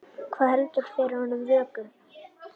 Hvað heldur fyrir honum vöku?